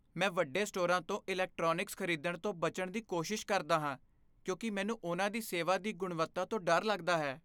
ਮੈਂ ਵੱਡੇ ਸਟੋਰਾਂ 'ਤੇ ਇਲੈਕਟ੍ਰੋਨਿਕਸ ਖ਼ਰੀਦਣ ਤੋਂ ਬਚਣ ਦੀ ਕੋਸ਼ਿਸ਼ ਕਰਦਾ ਹਾਂ ਕਿਉਂਕਿ ਮੈਨੂੰ ਉਨ੍ਹਾਂ ਦੀ ਸੇਵਾ ਦੀ ਗੁਣਵੱਤਾ ਤੋਂ ਡਰ ਲੱਗਦਾ ਹੈ।